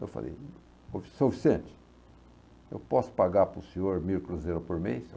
Eu falei, ou seu Vicente, eu posso pagar para o senhor mil cruzeiros por mês?